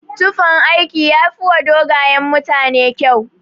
Tufan aiki yafiwa dogayen mutane kyau.